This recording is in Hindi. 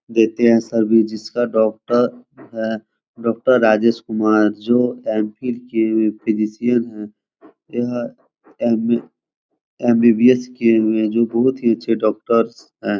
देते हैं सर्विस जिसका डॉक्टर है डॉक्टर राजेश कुमार जो एम फ़िल फिजिसिअन हैं यह एम एम.बी.बी.एस. किये हुए हैं जो बहुत ही अच्छे डॉक्टर्स हैं।